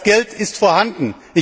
Das Geld ist vorhanden.